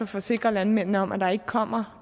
forsikre landmændene om at der ikke kommer